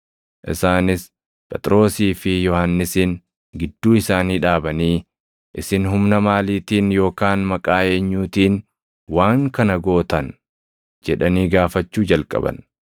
Isaanis Phexrosii fi Yohannisin gidduu isaanii dhaabanii, “Isin humna maaliitiin yookaan maqaa eenyuutiin waan kana gootan?” jedhanii gaafachuu jalqaban.